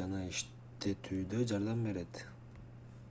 жана иштетүүдө жардам берет